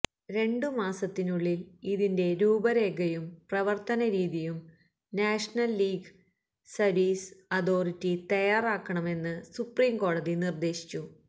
രണ്ടുമാസത്തിനുള്ളില് ഇതിന്റെ രൂപരേഖയും പ്രവര്ത്തനരീതിയും നാഷണല് ലീഗല് സര്വീസ് അഥോറിറ്റി തയ്യാറാക്കണമെന്ന് സുപ്രീംകോടതി നിര്ദ്ദേശിച്ചു